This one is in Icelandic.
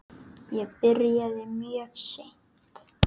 Ég byrjaði mjög seint.